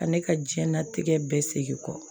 Ka ne ka diɲɛnatigɛ bɛɛ segin kɔ